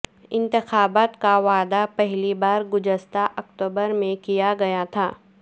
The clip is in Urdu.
انتخابات کا وعدہ پہلی بار گزشتہ اکتوبر میں کیا گیا تھا